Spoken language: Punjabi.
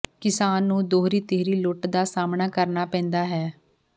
ਕਿਸਾਨ ਨੂੰ ਦੋਹਰੀ ਤੀਹਰੀ ਲੁੱਟ ਦਾ ਸਾਹਮਣਾ ਕਰਨਾ ਪੈਂਦਾ ਹੈ